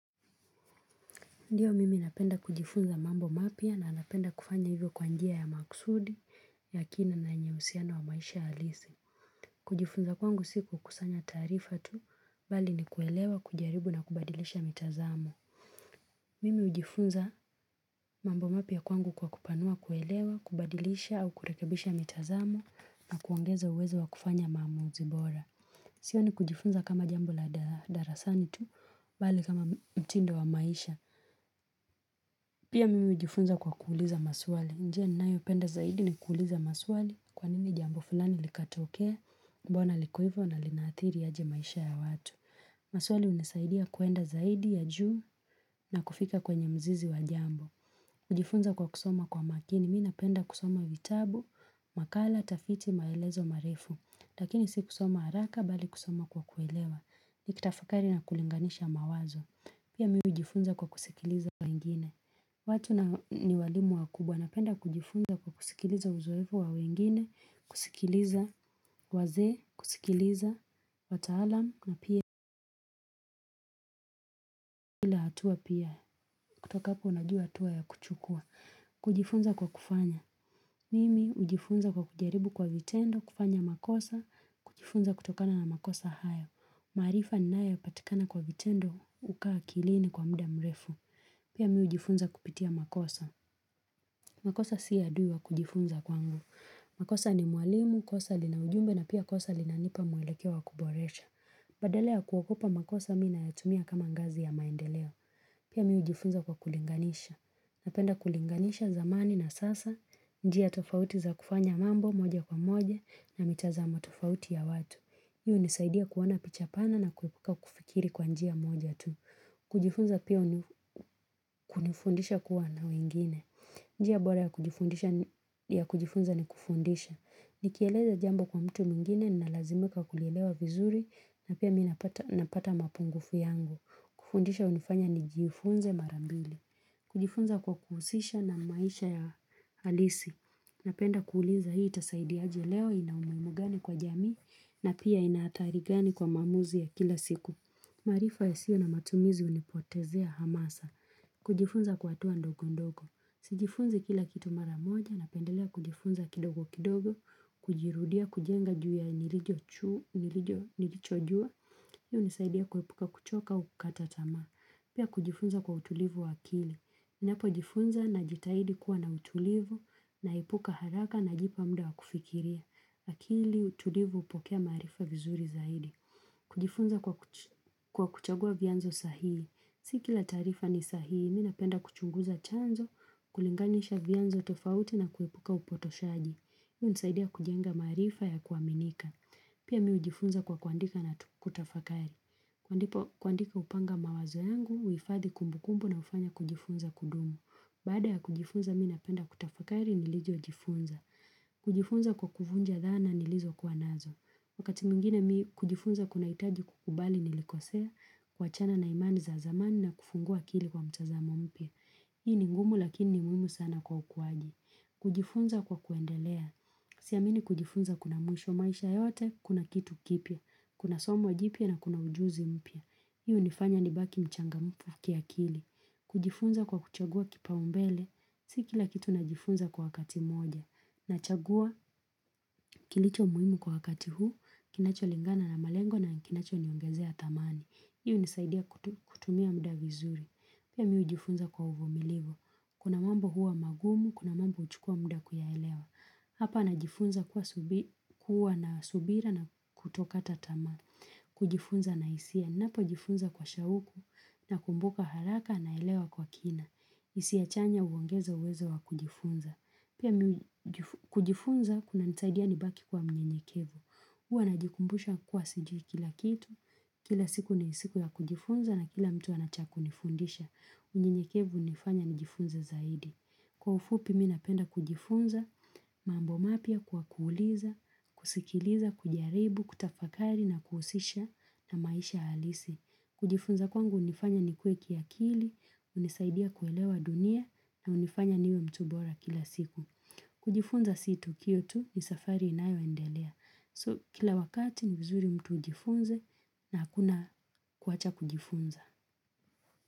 Ndiyo mimi napenda kujifunza mambo mapya na napenda kufanya hivyo kwa njia ya maksudi Yakina na yenye uhusiana wa maisha alisi kujifunza kwangu siku kusanya taarifa tu Bali ni kuelewa, kujaribu na kubadilisha mitazamo Mimi ujifunza mambo mapia kwangu kwa kupanua kuelewa, kubadilisha au kurekebisha mitazamo na kuongeza uwezo wa kufanya maamuzi bora siyo ni kujifunza kama jambo la darasani tu Bali kama mtindo wa maisha Pia mimi ujifunza kwa kuuliza maswali. Njia ni nayo penda zaidi ni kuuliza maswali kwa nini jambo fulani likatokea, mbona liko ivo na linaathiri aje maisha ya watu. Maswali unisaidia kwenda zaidi ya juu na kufika kwenye mzizi wa jambo. Kujifunza kwa kusoma kwa makini, mi napenda kusoma vitabu, makala, tafiti, maelezo, marefu Lakini si kusoma haraka, bali kusoma kwa kuelewa Nikitafakari na kulinganisha mawazo Pia mi ujifunza kwa kusikiliza we ingine watu ni walimu wa kubwa, napenda kujifunza kwa kusikiliza uzoefu wa wengine kusikiliza, wazee, kusikiliza, wataalam, na pia hatua pia kutoka hapo unajua hatua ya kuchukua kujifunza kwa kufanya Mimi ujifunza kwa kujaribu kwa vitendo, kufanya makosa, kujifunza kutokana na makosa haya. Maarifa ni naya patikana kwa vitendo, huka akilini kwa mda mrefu. Pia mi ujifunza kupitia makosa. Makosa si adui wa kujifunza kwangu. Makosa ni mwalimu, kosa linaujumbe na pia kosa lina nipa mwelekeo wa kuboresha. Badala ya kuogopa makosa mi na yatumia kama ngazi ya maendeleo. Pia mi ujifunza kwa kulinganisha. Napenda kulinganisha zamani na sasa, njia tofauti za kufanya mambo moja kwa moja na mitazamo tofauti ya watu. Hii unisaidia kuona pichapana na kufikiri kwa njia moja tu. Kujifunza pia kunifundisha kuwa na wengine. Njia bora ya kujifunza ni kufundisha. Nikieleza jambo kwa mtu mwingine, nalazimika kulielewa vizuri na pia minapata mapungufu yangu. Kufundisha unifanya nijifunze marambili. Kujifunza kwa kuhusisha na maisha ya halisi. Napenda kuuliza hii itasaidi aje leo ina umuhimu gani kwa jamii na pia inahatari gani kwa maamuzi ya kila siku. Maarifa yasiyo na matumizi unipotezea hamasa. Kujifunza kwa hatua ndogo ndogo. Sijifunzi kila kitu maramoja napendelea kujifunza kidogo kidogo. Kujirudia kujenga juu ya nilijo nilijo nilicho juu. Hii u nisaidia kuepuka kuchoka u kukatatama. Pia kujifunza kwa utulivu wakili. Ninapo jifunza na jitaidi kuwa na utulivu naepuka haraka na jipa mda wakufikiria. Akili, utulivu upokea maarifa vizuri zaidi. Kujifunza kwa kuchagua vyanzo sahihi. Sikila taarifa ni sahihi, mi napenda kuchunguza chanzo, kulinganisha vyanzo tofauti na kuepuka upotoshaaji. Hii unisaidia kujenga maarifa ya kuaminika. Pia mi ujifunza kwa kuandika na kutafakari. Kuandika upanga mawazo yangu, uhifadhi kumbukumbu na ufanya kujifunza kudumu. Baada ya kujifunza, mi napenda kutafakari nilijo kujifunza. Kujifunza kwa kufunja dhana nilizo kuwanazo. Wakati mwingine mi kujifunza kuna hitaji kukubali nilikosea kuachana na imani za zamani na kufungua akili kwa mtazamo mpya. Hii ni ngumu lakini ni muhimu sana kwa ukuaji. Kujifunza kwa kuendelea. Siamini kujifunza kuna mwisho maisha yote, kuna kitu kipya. Kuna somo jipia na kuna ujuzi mpya. Hii u nifanya ni baki mchangamfu kia kili. Kujifunza kwa kuchagua kipa umbele. Si kila kitu najifunza kwa wakati moja. Nachagua kilicho muhimu kwa wakati huu. Kinacho lingana na malengo na kinacho niongezea tamani. Hii u nisaidia kutumia muda vizuri. Pia mi ujifunza kwa uvumilivo. Kuna mambo huwa magumu, kuna mambo uchukua muda kuyaelewa. Hapa najifunza kuwa na subira na kutokata tamaa. Kujifunza na hisia. Napo jifunza kwa shauku na kumbuka haraka na elewa kwa kina. Hisia chanya uongeza uwezo wa kujifunza. Pia kujifunza kuna nisaidia ni baki kwa mnyenyekevu. Uwa na jikumbusha kwa sijui kila kitu. Kila siku nisiku ya kujifunza na kila mtu anachakunifundisha. Unyenyekevu unifanya nijifunza zaidi. Kwa ufupi mi napenda kujifunza, mambo mapia kwa kuuliza, kusikiliza, kujaribu, kutafakari na kuhusisha na maisha halisi. Kujifunza kwangu unifanya nikue kiakili, unisaidia kuelewa dunia na unifanya niwe mtu bora kila siku. Kujifunza sito kiyo tu ni safari inayo endelea. So kila wakati ni vizuri mtu ujifunze na hakuna kuwacha kujifunza.